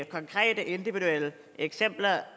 konkrete individuelle eksempler